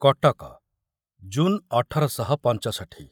Cuttack June ଅଠର ଶହ ପଞ୍ଚଷଠି